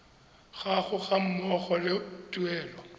gago ga mmogo le tuelo